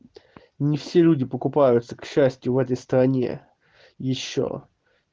не все люди покупаются к счастью в этой стране ещё